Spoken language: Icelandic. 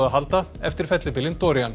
að halda eftir fellibylinn